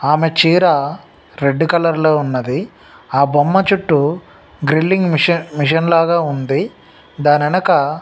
ఆమె చీర red colour లో ఉన్నదీ ఆ బొమ్మ చుట్టూ గ్రిల్లింగ్ మిసన్ -మిసన్ లాగ ఉంది దాని వెనక --